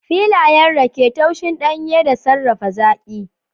Filayen rake, tushen danye da sarrafa zaƙi